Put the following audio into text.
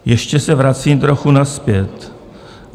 Ještě se vracím trochu nazpět.